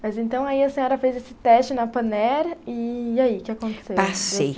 Mas então aí a senhora fez esse teste na Panair, e aí, o que aconteceu? Passei.